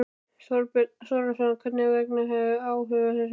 Þorbjörn Þórðarson: Hvers vegna hafið þið áhuga á þessu fyrirtæki?